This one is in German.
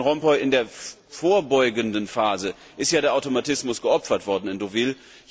Herr Van Rompuy, in der vorbeugenden Phase ist ja der Automatismus geopfert worden in Deauville.